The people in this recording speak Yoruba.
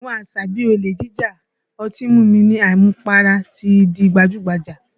Àwọn àṣà bí i olè jíjà, ọtí mímu ní àmupara ti di gbajú-gbajà